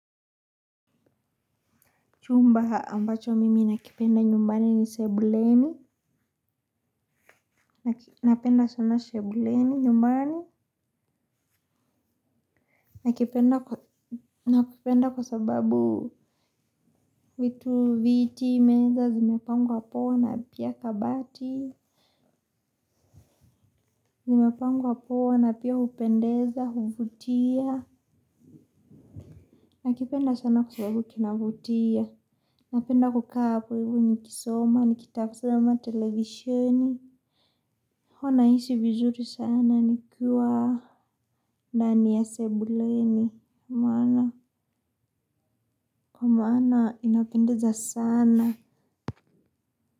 Chumba ambacho mimi nakipenda nyumbani ni sebuleni. Nakipenda sana. Sebuleni nyumbani. Nakipenda kwa sababu vitu viti, meza, zimepangwa poa, na pia kabati. Zimepangwa poa, na pia hupendeza, huvutia. Nakipenda sana kwa sababu kinavutia. Napenda kukaa hapo ivo nikisoma, nikitasama, televisioni. Huwa naishi vizuri sana nikiwa ndani ya sebuleni. Maana, kwa maana inapendeza sana.